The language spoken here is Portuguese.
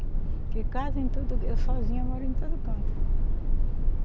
Porque casa em todo, eu sozinha moro em todo canto.